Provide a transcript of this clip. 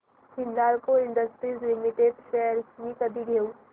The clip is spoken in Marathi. हिंदाल्को इंडस्ट्रीज लिमिटेड शेअर्स मी कधी घेऊ